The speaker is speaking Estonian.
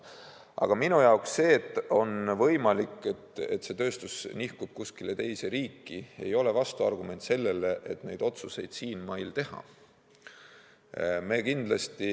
Aga minu jaoks see, et on võimalik, et see tööstus nihkub kuskile teise riiki, ei ole vastuargument sellele, et neid otsuseid siinmail teha.